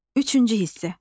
Üçüncü hissə.